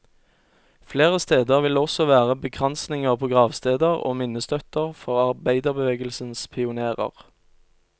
Flere steder vil det også være bekransninger på gravsteder og minnestøtter for arbeiderbevegelsens pionérer.